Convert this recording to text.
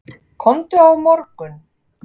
Komdu á morgun.